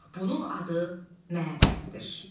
Bunun adı məbəddir.